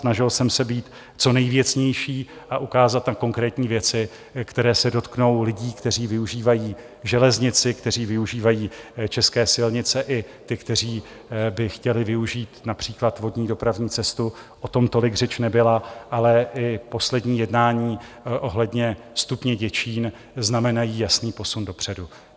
Snažil jsem se být co nejvěcnější a ukázat na konkrétní věci, které se dotknou lidí, kteří využívají železnici, kteří využívají české silnice, i těch, kteří by chtěli využít například vodní dopravní cestu, o tom tolik řeč nebyla, ale i poslední jednání ohledně stupně Děčín znamenají jasný posun dopředu.